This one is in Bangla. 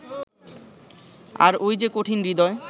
আর ওই যে কঠিন-হৃদয়